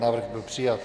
Návrh byl přijat.